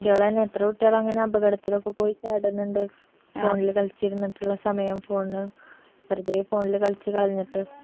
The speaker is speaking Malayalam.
കുട്ടിയാളെന്നെ എത്ര കുട്ടിയാളങ്ങനെ അപകടത്തിൽ പോയി ചാടുന്നുണ്ട് phone ല് കളിച്ചിരുന്നിട്ടുള്ള സമയം full വെറുതേ phone ല് കളിച്ച് കളഞ്ഞിട്ട്